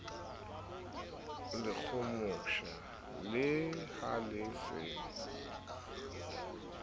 lekgomosha ke ha le se